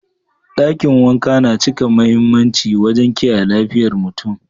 Dakin wanka yana cika mahimmanci wajen kiyaye lafiyar mutum.